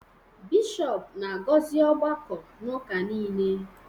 bishọp na-agọzi ọgbakọ n’ụka nile